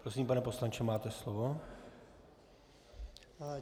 Prosím, pane poslanče, máte slovo.